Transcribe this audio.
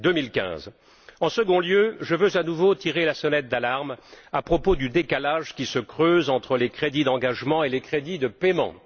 2015? En second lieu, je veux à nouveau tirer la sonnette d'alarme à propos du décalage qui se creuse entre les crédits d'engagement et les crédits de paiement.